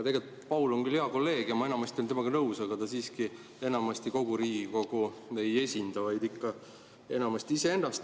Tegelikult on Paul küll hea kolleeg ja ma enamasti olen temaga nõus, aga ta siiski kogu Riigikogu ei esinda, vaid enamasti ikka iseennast.